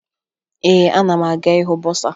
Ee, ana m aga ịhụ bọsaa